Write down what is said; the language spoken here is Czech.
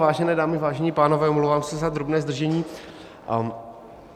Vážené dámy, vážení pánové, omlouvám se za drobné zdržení.